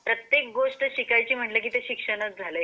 प्रत्येक गोष्ट शिकायची म्हणजे शिक्षण चा झालंय एक प्रकारचा.